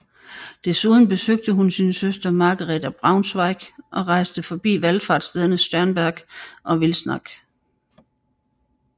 Desuden besøgte hun sin søster Margrethe af Braunschweig og rejste forbi valfartsstederne Sternberg og Wilsnack